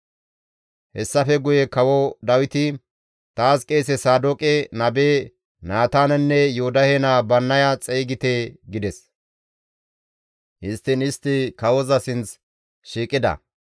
Hessafe guye Kawo Dawiti, «Taas qeese Saadooqe, nabe Naataanenne Yoodahe naa Bannaya xeygite» gides; histtiin istti kawoza sinth shiiqida.